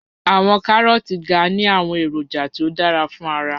Awọn Karooti ga ni awọn eroja ti o dara fun ara